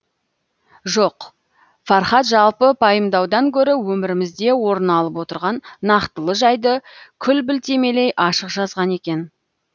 жоқ фархат жалпы пайымдаудан гөрі өмірімізде орын алып отырған нақтылы жайды күл білтелемей ашық жазған екен